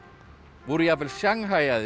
voru jafnvel